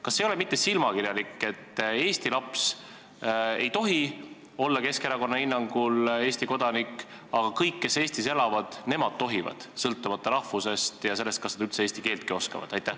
Kas see ei ole mitte silmakirjalik, et eesti laps ei tohi Keskerakonna hinnangul Eesti kodanik olla, samas kõik, kes Eestis elavad, tohivad, sõltumata rahvusest ja sellest, kas nad eesti keeltki oskavad?